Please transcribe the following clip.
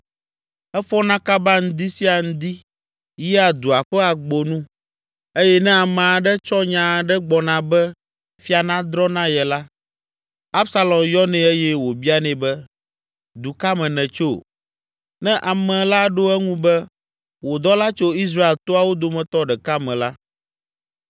Efɔna kaba ŋdi sia ŋdi, yia dua ƒe agbonu eye ne ame aɖe tsɔ nya aɖe gbɔna be fia nadrɔ̃ na ye la, Absalom yɔnɛ eye wòbianɛ be, “Du ka me nètso?” Ne ame la ɖo eŋu be “Wò dɔla tso Israel toawo dometɔ ɖeka me la,”